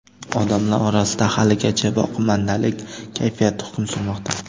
Odamlar orasida haligacha boqimandalik kayfiyati hukm surmoqda.